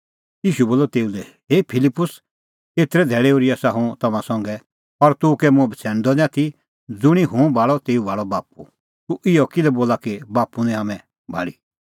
ईशू बोलअ तेऊ लै हे फिलिप्पुस एतरै धैल़ै ओर्ही आसा हुंह तम्हां संघै और तूह कै मुंह बछ़ैणदअ निं आथी ज़ुंणी हुंह भाल़अ तेऊ भाल़अ बाप्पू तूह इहअ किल्है बोला कि बाप्पू निं हाम्हैं भाल़ी